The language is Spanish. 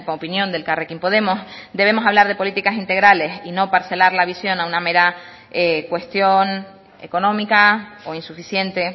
opinión de elkarrekin podemos debemos hablar de políticas integrales y no parcelar la visión a una mera cuestión económica o insuficiente